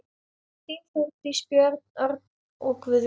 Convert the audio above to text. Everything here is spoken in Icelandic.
Þín, Þórdís, Björn, Örn, Guðjón.